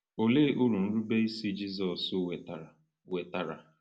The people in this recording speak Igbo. Olee uru nrubeisi Jizọs wetara? wetara?